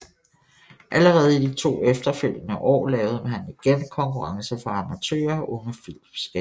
Allerede i de to efterfølgende år lavede man igen konkurrencer for amatører og unge filmskabere